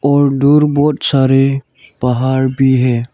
और दूर बहुत सारे पहाड़ भी है।